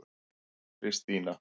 Kristína